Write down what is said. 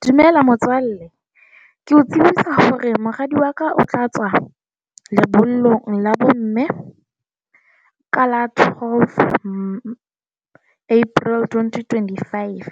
Dumela, motswalle. Ke o tsebisa hore moradi wa ka o tla tswa lebollong la bomme, ka la twelve April, twenty twenty five.